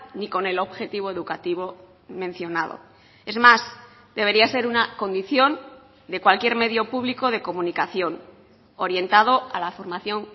ni con el objetivo educativo mencionado es más debería ser una condición de cualquier medio público de comunicación orientado a la formación